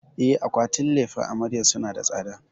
E, akwatunan lefen amaryar suna da tsada.